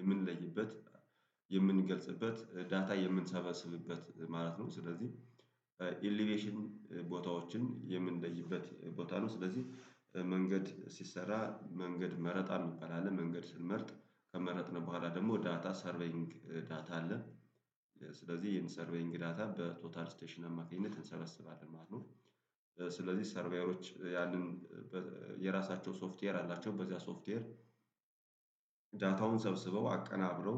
የምንለይበት የምንገልጽበት ዳታ የምንሰበስብበት ማለት ነው። ስለዚህ ኢሊቬሽን ቦታዎችን የምንለይበት ቦታ ነው። ስለዚህ መንገድ ሲሰራ መንገድ መረጣ ሚባል አለ። መንገድ ስንመርጥ ከመረጥን በኋላ ደግሞ ዳታ ሰርቬይንግ ዳታ አለ። ስለዚህ ይሄን ሰርቬይንግ ዳታ በቶታል ስቴሽን አማካኝነት እንሰበስባለን ማለት ነው። ስለዚህ ሰርቫየሮች ያንን የራሳቸው ሶፍትዌር አላቸው በዚያ ሶፍትዌር። ዳታውን ሰብስበው አቀናብረው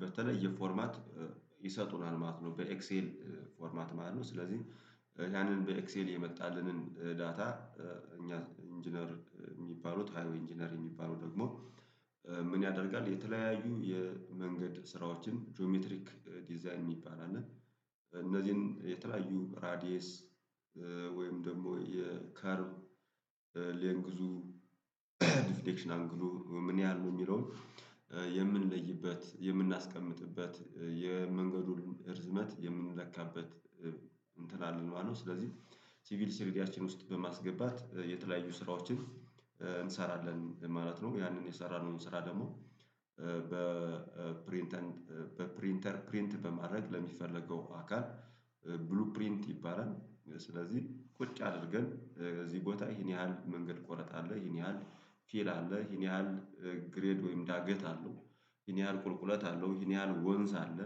በተለየ ፎርማት ይሰጡናል ማለት ነው። በኤክሴል ፎርማት ማለት ነው ስለዚህ ያንን በኤክሴል የመጣልንን ዳታ እኛ ኢንጂነር የሚባሉት ሃይወይ ኢንጂነር የሚባሉ ደግሞ ምን ያደርጋል? የተለያዩ የመንገድ ስራዎችን ጂኦሜትሪክ ዲዛይን የሚባል አለ። እነዚህን የተለያዩ ራዲየስ ደግሞ የከርብ ሌንግዙ ዲፍሌክሽናል ግሎ ምን ያህል ነው? የሚለውን የምንለይበት የምናስቀምጥበት የመንገዱን ርዝመት የምንለካበት እንትን አለ ማለት ነው። ስለዚህ ሲቪል ስሪዲያችን ውስጥ በማስገባት የተለያዩ ስራዎችን እንሰራለን ማለት ነው። ያንን የሰራነው ስራ ደግሞ በፕሪንተር በፕሪንተር ፕሪንት በማድረግ ለሚፈለገው አካል ብሉ ፕሪንት ይባላል። ስለዚህ ቁጭ አድርገን በዚህ ቦታ ይሄን ያህል መንገድ ቆረጥ አለ ይሄን ያህል ፊል አለ ይሄን ያህል ግሬድ ወይም ዳገት አለው። ይሄን ያህል ቁልቁለት አለው ይሄን ያህል ወንዝ አለ።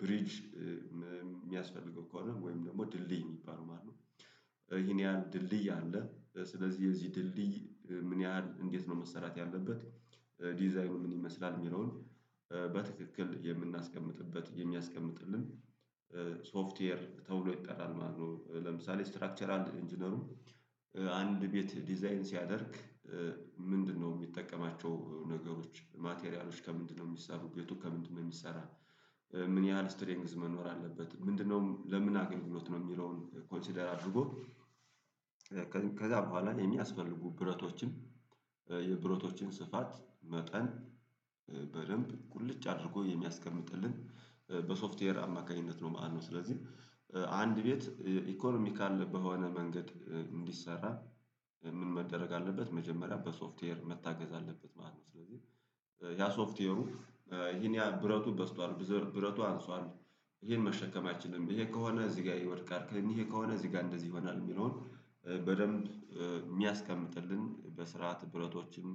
ብሪጅ ሚያስፈልገው ከሆነ ወይም ደግሞ ድልድይ የሚባለው ማለት ነው። ይሄን ያህል ድልድይ አለ ስለዚህ የዚህ ድልድይ ምን ያህል እንዴት ነው መሰራት ያለበት? ዲዛይኑ ምን ይመስላል የሚለውን በትክክል የምናስቀምጥበት የሚያስቀምጥልን ሶፍትዌር ተብሎ ይጠራል። ማለት ነው ለምሳሌ ስትራክቸራል ኢንጂነሩ አንድ ቤት ዲዛይን ሲያደርግ ምንድነው የሚጠቀማቸው ነገሮች ማቴሪያሎች ከምንድነው የሚሰሩት ቤቱ ከምንድነው የሚሰራ ምን ያህል ስትሪንግዝ መኖር አለበት። ምንድነው ለምን አገኘሁት ነው። የሚለውን ኮንሲደር አድርጎ ከዛ በኋላ የሚያስፈልጉ ብረቶችም የብረቶችን ስፋት መጠን በደንብ ቁልጭ አድርጎ የሚያስቀምጥልን በሶፍትዌር አማካኝነት ነው። ማለት ነው። ስለዚህ አንድ ቤት ኢኮኖሚ ካለበት በሆነ መንገድ እንዲሰራ ምን መደረግ አለበት መጀመሪያ በሶፍትዌር መታገዝ አለበት ማለት ነው። ስለዚህ ያ ሶፍትዌሩ ይሄን ያህል ብረቱ በዝቷል ብረቱ አንሷል ይሄን መሸከም አይችልም ይሄ ከሆነ እዚህ ጋር ይወድቃል ይሄ ከሆነ እዚህ ጋር እንደዚህ ይሆናል የሚለውን በደንብ የሚያስቀምጥልን በስርዓት ብረቶችም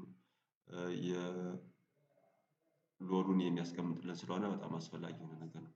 የሎዱን የሚያስቀምጥልን ስለሆነ በጣም አስፈላጊ የሆነ ነገር ነው